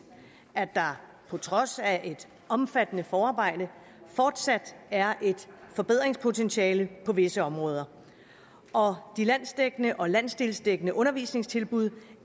at der på trods af et omfattende forarbejde fortsat er et forbedringspotentiale på visse områder og de landsdækkende og landsdelsdækkende undervisningstilbud